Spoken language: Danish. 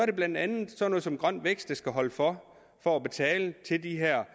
det blandt andet sådan noget som grøn vækst der skulle holde for for at betale til de her